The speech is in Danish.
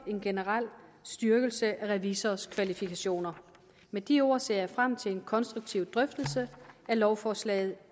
en generel styrkelse af revisorers kvalifikationer med de ord ser jeg frem til en konstruktiv drøftelse af lovforslaget